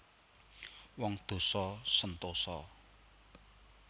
Wong dosa sentosa